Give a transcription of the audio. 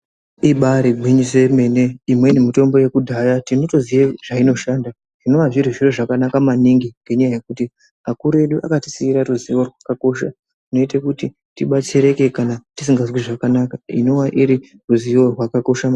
Ibarigwinyiso yemene imweni mitombo yekudhaye tinotoziya zvainoshanda. Zvinova zviri zviro zvakanaka maningi ngendaa yekuti akuru edu akatisiire ruzivo rwakakosha. Runoite kuti tibatsirike kana tisingazwi zvakanaka inova iriruzivo rwakakosha maningi.